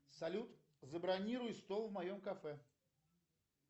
салют забронируй стол в моем кафе